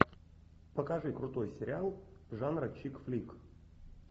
покажи крутой сериал жанра чик флик